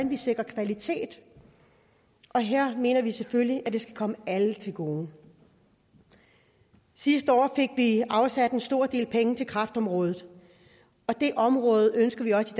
vi sikrer kvalitet og her mener vi selvfølgelig at det skal komme alle til gode sidste år fik vi afsat en stor del penge til kræftområdet og det område ønsker vi også